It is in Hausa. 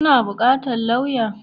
Kuna buƙatar lauya?